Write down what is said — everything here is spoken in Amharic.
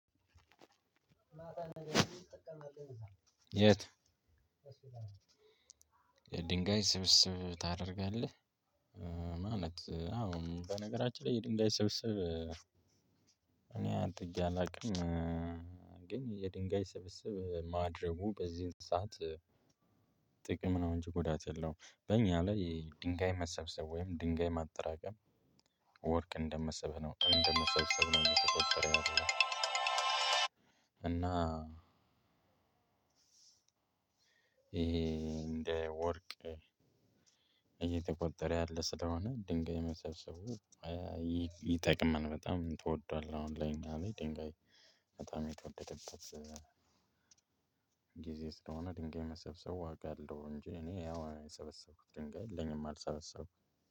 የት የድንጋይ ስብስብ ታደርጋለህ? ማለት አዎ በነገራችን ላይ የድንጋይ ስብስብ እኔ አንተ ብዬ አላውቅም። ግን የድንጋይ ስብስብ ማድረጉ በዚን ሰዓት ጥቅም ነው እንጂ ጎዳት የለውም። በእኛ ላይ የድንጋይ መሰብሰብ ወይም ድንጋይ ማጠራቀም ወርቅ እንደመሰብህ ነው እንደመሰብሰብ ነው እየተቆጠረ ያለው እና። ይሄ እንደ ወርቅ እየተቆጠረ ያለ ስለሆነ ድንጋይ መሰብሰቡ ይጠቅማል። በጣም ትወደዋለህ? አሁን ላይ እኛ ላይ ድንጋይ በጣም የተወደደበት ጊዜ ስለሆነ ድንጋይ መሰብሰብ ዋጋ አለው። እንጂ እኔ ያው የሰበሰብኩት ድንጋይ የለኝም አልሰበሰብኩም።